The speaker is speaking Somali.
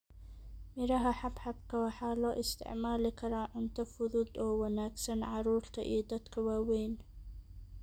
Miraha Xabxabka waxaa loo isticmaali karaa cunto fudud oo wanaagsan carruurta iyo dadka waaweyn.